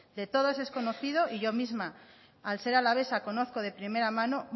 de todos es conocido y yo misma al ser alavesa conozco de primera mano